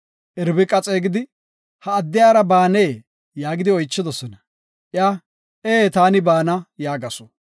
Irbiqa xeegidi, “Ha addiyara baanee?” yaagidi oychidosona. Iya, “Ee; taani baana” yaagasu.